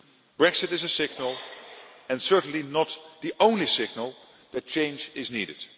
said Brexit is a signal and certainly not the only signal that change is needed.